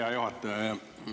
Hea juhataja!